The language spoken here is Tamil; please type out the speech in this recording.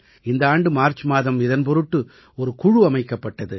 இந்த ஆண்டு மார்ச் மாதம் இதன் பொருட்டு ஒரு குழு அமைக்கப்பட்டது